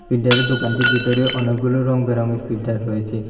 ফিল্টারের দোকানটির বিতরে অনেকগুলো রং বেরঙের ফিল্টার রয়েচে।